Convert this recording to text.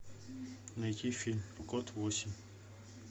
найти фильм код восемь